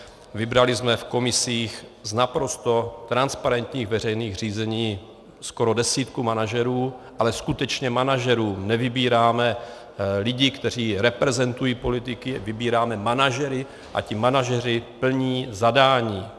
Vybrali jsme v komisích z naprosto transparentních veřejných řízení skoro desítku manažerů, ale skutečně manažerů - nevybíráme lidi, kteří reprezentují politiky, vybíráme manažery a ti manažeři plní zadání.